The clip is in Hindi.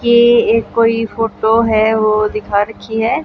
ये एक कोई फोटो है ओ दिखा रखी है।